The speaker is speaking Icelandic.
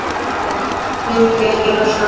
Vildi ekki losna.